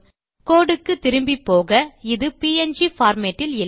கோடு க்கு திரும்பிப்போக இது ப்ங் பார்மேட் இல் இல்லை